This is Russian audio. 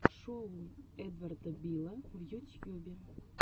шоу эдварда билла в ютьюбе